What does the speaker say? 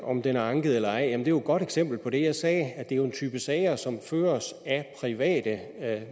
om den er anket eller ej jamen jo godt eksempel på det jeg sagde nemlig at det er en type sager som føres af